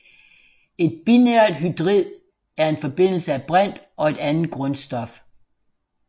Et binært hydrid er en forbindelse af brint og et andet grundstof